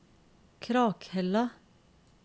Krakhella